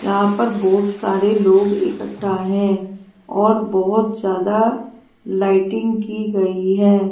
यहां पर बहुत सारे लोग इकट्ठा हैं और बहुत ज्यादा लाइटिंग की गई है।